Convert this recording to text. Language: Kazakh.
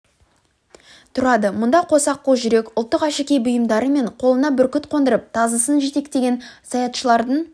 тұрады мұнда қос аққу жүрек ұлттық әшекей бұйымдары мен қолына бүркіт қондырып тазысын жетектеген саятшылардың